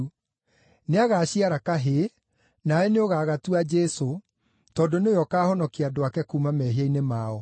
Nĩagaciara kahĩĩ, nawe nĩũgagatua Jesũ, tondũ nĩwe ũkaahonokia andũ ake kuuma mehia-inĩ mao.”